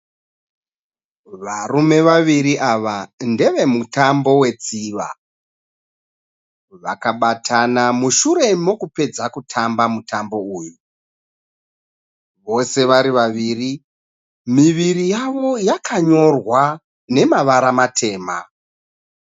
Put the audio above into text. Varume vaviri ava ndevemutambo wetsviva. Vakabatana mushure mokupedza kutamba mutambo uyu. Vose vari vaviri, miviri yavo yakanyorwa nemavara matema.